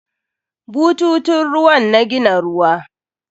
Bututun ruwan na gina ruwa.